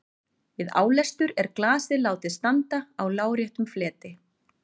Við álestur er glasið látið standa á láréttum fleti.